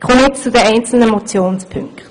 Damit komme ich zu den einzelnen Motionspunkten.